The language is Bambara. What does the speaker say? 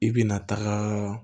I bina taga